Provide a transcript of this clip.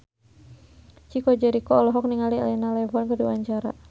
Chico Jericho olohok ningali Elena Levon keur diwawancara